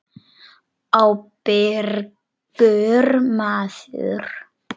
Ábyrgur maður.